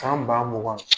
San ba mugan